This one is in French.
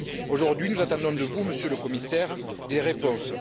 Aujourd'hui, nous attendons de vous, Monsieur le Commissaire, des réponses.